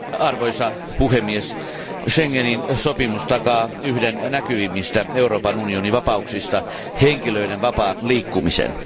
Arvoisa puhemies, Schengenin sopimus takaa yhden näkyvimmistä Euroopan unionin vapauksista henkilöiden vapaan liikkumisen.